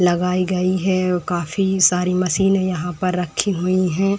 लगाई गई है और काफी सारी मशीने यहां पर रखी हुई हैं।